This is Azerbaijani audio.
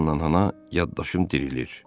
Hanna yana yaddaşım dirilir.